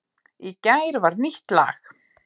Í gær var nýtt lag